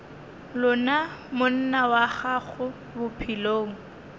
lona monna wa gago bophelong